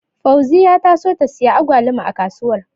Fauziya ta so ta siyi Agwaluma a kasuwar.